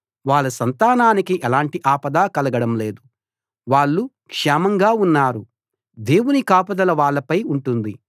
వాళ్ళ సంతానానికి ఎలాంటి ఆపదా కలగడం లేదు వాళ్ళు క్షేమం ఉన్నారు దేవుని కాపుదల వాళ్ళపై ఉంటుంది